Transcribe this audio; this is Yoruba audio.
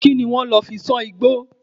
Kí ni wọ́n lò fi sán igbó?